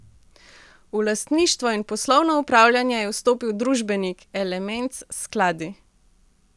V lastništvo in poslovno upravljanje je vstopil družbenik, Elements Skladi.